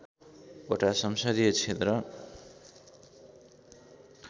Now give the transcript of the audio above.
वटा संसदीय क्षेत्र